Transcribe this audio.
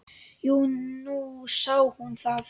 Jú, nú sá hún það.